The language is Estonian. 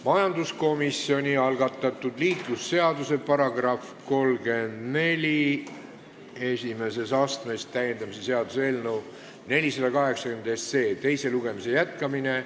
Majanduskomisjoni algatatud liiklusseaduse § 341 täiendamise seaduse eelnõu 480 teise lugemise jätkamine.